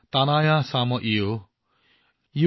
अमृक्तम् धात तोकाय तनयाय शं यो